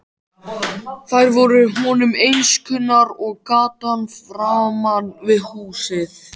Þær voru honum eins kunnar og gatan framan við húsið.